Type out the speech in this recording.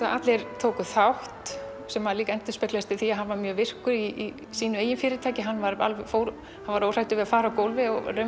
allir tækju þátt sem endurspeglaðist líka í því að hann var mjög virkur í eigin fyrirtæki hann var hann var óhræddur við að fara á gólfið og